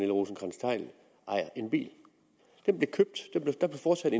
rosenkrantz theil ejer en bil den blev købt der blev foretaget